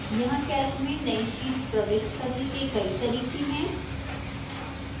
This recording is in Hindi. यहां calc में नई sheets प्रविष्ट करने के कई तरीके हैं